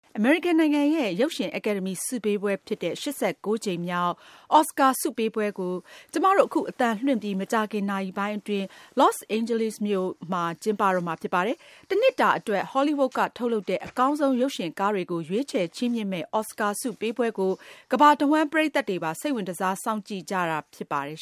အမေရိကန်နိုင်ငံရဲ့ ရုပ်ရှင် အကယ်ဒမီ ဆုပေးပွဲဖြစ်တဲ့ ၈၉ ကြိမ်မြောက် အော်စကာ ဆုပေးပွဲကို အခု အသံလွင့်ပြီး မကြာခင် နာရီပိုင်းအတွင်း Los Angeles မြို့ ကျင်းပတော့မှာ ဖြစ်ပါတယ်။ တနှစ်တာအတွက် ဟောလိဝုဒ်က ထုတ်လုပ်တဲ့ အကောင်းဆုံး ရုပ်ရှင်ကားတွေကို ရွေးချယ် ချီးမြင့်မယ့် အော်စကာ ဆုပေးပွဲကို ကမ္ဘာတဝှမ်း ပရိတ်သတ်တွေပါ စိတ်ဝင်တစား စောင့်ကြည့်ကြတာ ဖြစ်ပါတယ်